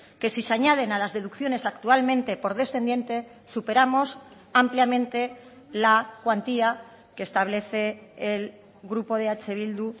que si se añaden a las deducciones actualmente por descendiente superamos ampliamente la cuantía que establece el grupo de eh bildu